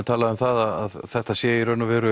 talað um að þetta sé